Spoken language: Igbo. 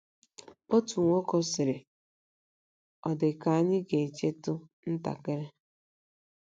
Otu nwoke sịrị, ‘ Ọ dị ka ànyị ga - echetụ ntakịrị. ’”